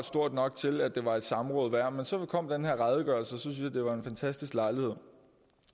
stort nok til at det var et samråd værd men så kom den her redegørelse og en fantastisk lejlighed